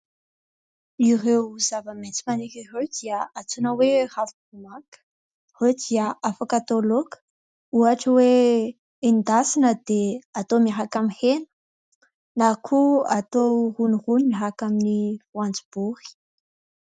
Ireo zava-maitso maniry ireo dia antsoina hoe ravim-bomanga. Ireo dia afaka atao laoka, ohatra hoe endasina dia atao miaraka amin'ny hena na koa atao ronirony miaraka amin'ny voanjobory.